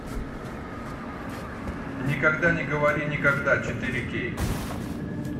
никогда не говори никогда четыре кей